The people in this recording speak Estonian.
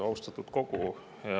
Austatud kogu!